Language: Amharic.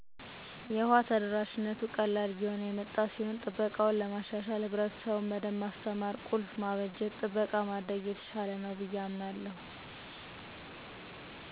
የውሃ ተደራሽነቱ ቀላል እየሆነ የመጣ ሲሆን ጥበቃውን ለማሻሻል ህብረትሰቡን በደንብ ማስተማር፣ ቁልፍ ማበጀት፣ ጥበቃ ማድረግ የተሻለ ነው ብየ አምናለሁ።